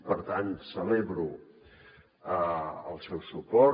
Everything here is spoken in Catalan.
per tant celebro el seu suport